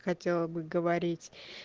хотела бы говорить